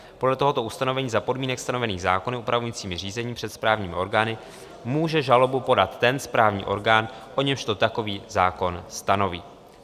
Podle tohoto ustanovení za podmínek stanovených zákony upravujícími řízení před správními orgány může žalobu podat ten správní orgán, o němž to takový zákon stanoví.